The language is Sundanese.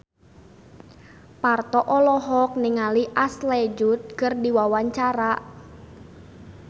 Parto olohok ningali Ashley Judd keur diwawancara